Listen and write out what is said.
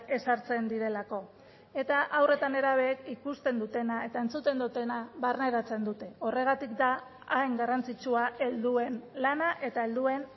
ezartzen direlako eta haur eta nerabeek ikusten dutena eta entzuten dutena barneratzen dute horregatik da hain garrantzitsua helduen lana eta helduen